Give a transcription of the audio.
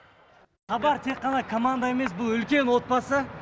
хабар тек қана команда емес бұл үлкен отбасы